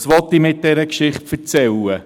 Was will ich mit dieser Geschichte erzählen?